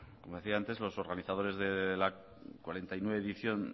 como decía antes los organizadores de la cuarenta y nueve edición